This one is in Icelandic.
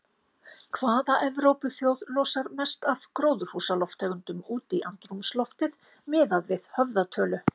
Hvaða Evrópuþjóð losar mest af gróðurhúsalofttegundum út í andrúmsloftið miðað við höfðatölu?